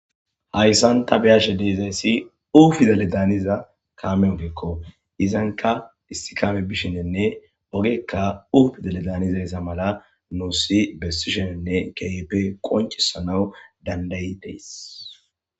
hayssan ta biashe deezayssi ufizale daaniza kaamenfekko izanka istikame bishinenne ogekka ufidale danizayssa mala nuusi bessishenenne keyepe qoncisanaw dandayiteys